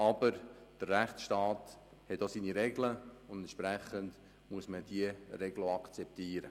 Aber der Rechtsstaat hat seine Regeln, und diese muss man auch akzeptieren.